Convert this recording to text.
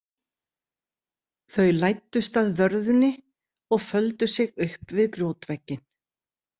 Þau læddust að vörðunni og földu sig upp við grjótvegginn.